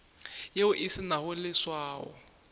yeo e se nago leswao